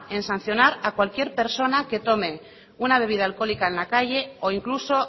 el sancionar a cualquier persona que tome una bebida alcohólica en la calle o incluso